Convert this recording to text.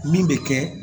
Min bɛ kɛ